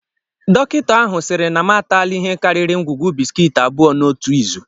Dọkịta ahụ siri na m atálá ihe karịrị ngwugwu bisikiiti abụọ n'otu izu